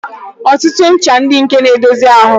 Ọtụtụ ncha dị nke na-edozi ahụ.